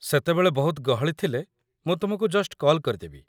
ସେତେବେଳେ ବହୁତ ଗହଳି ଥିଲେ, ମୁଁ ତୁମକୁ ଜଷ୍ଟ୍ କଲ୍ କରିଦେବି ।